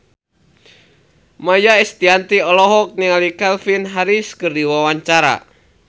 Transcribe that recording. Maia Estianty olohok ningali Calvin Harris keur diwawancara